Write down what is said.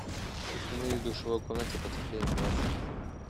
установи в душевой комнате потеплее на двадцать минут